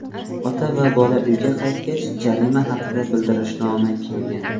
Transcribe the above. Ota va bola uyga qaytgach, jarima haqida bildirishnoma kelgan.